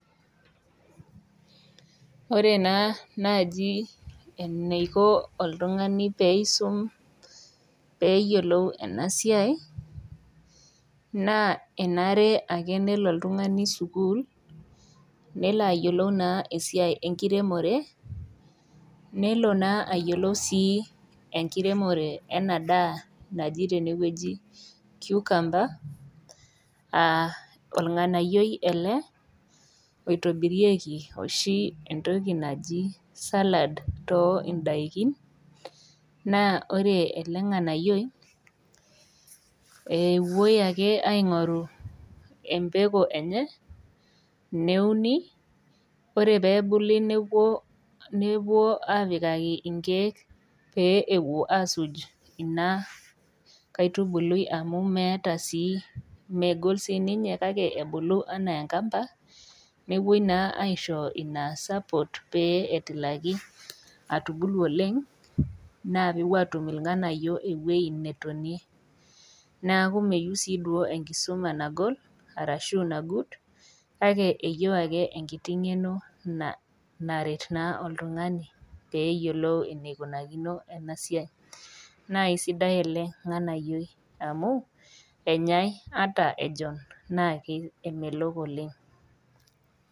Ore naa naaji enikoo oltung'ani pee esume pee eyiolou ena siai naa enare ake nelo oltung'ani sukuul nelo ayiolou esiai enkiremore nelo ayiolou sii enkiremore enadaa naaji tene kiukamba orng'anayioi ele oitobirieki oshi entoki naaji salad too edakii naa ore elo nganayioi epuoi ake aing'oru embekuu enye neuni ore pee ebulu nepuoi apikaki nkek pee asuj ena kaitubului amu meeta sii megol sininye kake ebulu enaa enkamba nepuoi aishoo ena sapoot petumoki atubulu oleng naa kepuo atum ilnganayio ewueji netonie neeku meyieu sii duo enkisuma nagol ashu naguut kake eyieu ake enkiti ng'eno naretu oltung'ani pee eyiolou ewueji nikunakio enasiai naa esidai ele nganayioi amu enyai ata ejon naa emelok oleng